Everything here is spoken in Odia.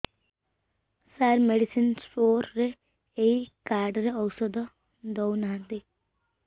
ସାର ମେଡିସିନ ସ୍ଟୋର ରେ ଏଇ କାର୍ଡ ରେ ଔଷଧ ଦଉନାହାନ୍ତି